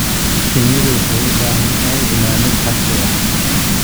Shinnidu waxay u baahan tahay ilaalin casri ah.